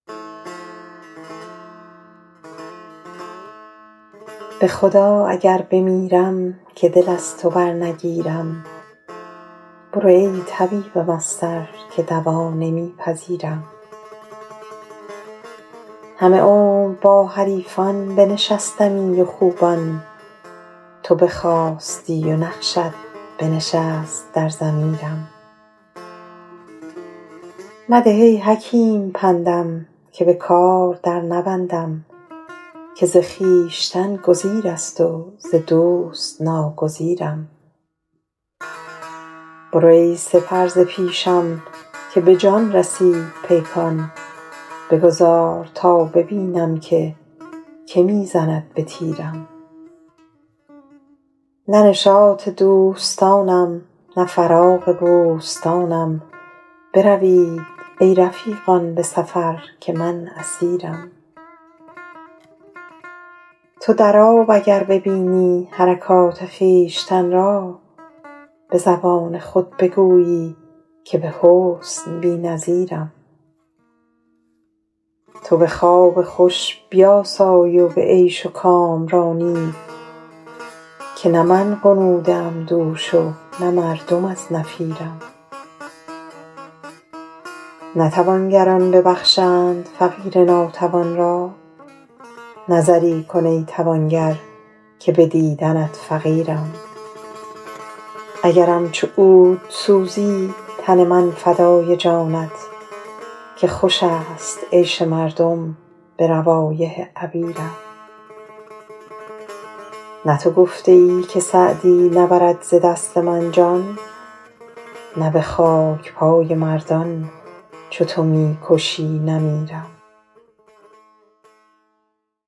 به خدا اگر بمیرم که دل از تو برنگیرم برو ای طبیبم از سر که دوا نمی پذیرم همه عمر با حریفان بنشستمی و خوبان تو بخاستی و نقشت بنشست در ضمیرم مده ای حکیم پندم که به کار در نبندم که ز خویشتن گزیر است و ز دوست ناگزیرم برو ای سپر ز پیشم که به جان رسید پیکان بگذار تا ببینم که که می زند به تیرم نه نشاط دوستانم نه فراغ بوستانم بروید ای رفیقان به سفر که من اسیرم تو در آب اگر ببینی حرکات خویشتن را به زبان خود بگویی که به حسن بی نظیرم تو به خواب خوش بیاسای و به عیش و کامرانی که نه من غنوده ام دوش و نه مردم از نفیرم نه توانگران ببخشند فقیر ناتوان را نظری کن ای توانگر که به دیدنت فقیرم اگرم چو عود سوزی تن من فدای جانت که خوش است عیش مردم به روایح عبیرم نه تو گفته ای که سعدی نبرد ز دست من جان نه به خاک پای مردان چو تو می کشی نمیرم